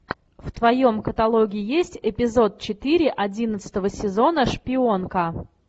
в твоем каталоге есть эпизод четыре одиннадцатого сезона шпионка